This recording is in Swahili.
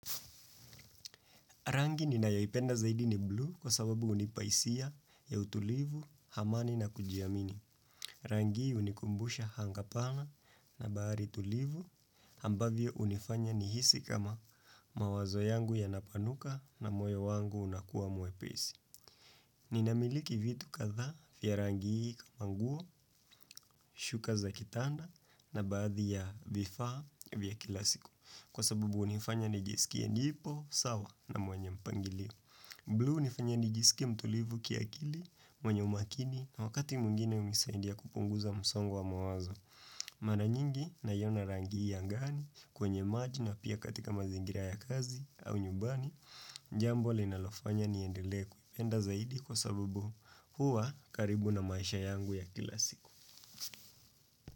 Rangi ni nayoipenda zaidi ni blue kwa sababu hunipa hisia ya utulivu, hamani na kujiamini. Rangi hii hunikumbusha hanga pana na bahari tulivu ambavyo hunifanya nihisi kama mawazo yangu yanapanuka na moyo wangu unakuwa mwepesi. Ninamiliki vitu kadhaa vya rangi hii kama nguo, shuka za kitanda na baadhi ya vifaa vya kila siku. Kwa sababu hunifanya nijisikie nipo, sawa na mwenye mpangilio. Blue hunifanya nijisikie mtulivu kiakili, mwenye umakini na wakati mwingine hunisaidia kupunguza msongo wa mawazo. Mara nyingi naiyona rangi hii angani kwenye maji na pia katika mazingira ya kazi au nyumbani. Jambo linalofanya niendelee kuipe enda zaidi kwa sababu huwa karibu na maisha yangu ya kila siku.